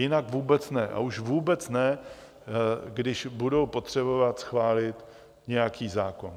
Jinak vůbec ne, a už vůbec ne, když budou potřebovat schválit nějaký zákon.